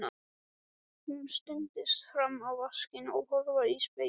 Hún studdist fram á vaskinn og horfði í spegilinn.